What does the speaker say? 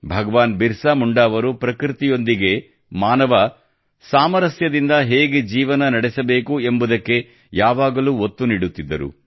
ಭಗವಾನ್ ಬಿರ್ಸಾ ಮುಂಡಾ ಅವರು ಪ್ರಕೃತಿಯೊಂದಿಗೆ ಮಾನವ ಸಾಮರಸ್ಯದಿಂದ ಹೇಗೆ ಜೀವನ ನಡೆಸಬೇಕು ಎಂಬುದಕ್ಕೆ ಯಾವಾಗಲೂ ಒತ್ತು ನೀಡುತ್ತಿದ್ದರು